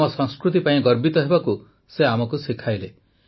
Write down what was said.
ଆମ ସଂସ୍କୃତି ପାଇଁ ଗର୍ବିତ ହେବାକୁ ସେ ଆମକୁ ଶିଖାଇଲେ